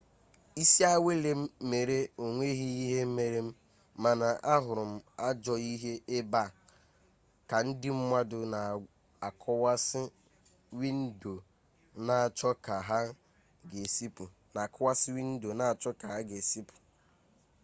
isi awele m mere onweghi ihe mere m mana ahuru m ajoo ihe ebe a ka ndi mmadu n'akuwasi windo n'acho ka ha ga esi puta